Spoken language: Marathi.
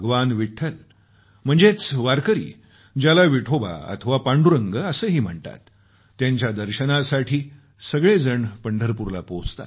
विठ्ठल ज्याला विठोबा अथवा पांडुरंग असेही म्हणतात त्यांच्या दर्शनासाठी तिर्थयात्री पंढरपूरला पोहोचतात